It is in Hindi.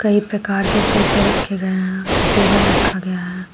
एक प्रकार के सोफे रखे गए हैं टेबल रखा गया है।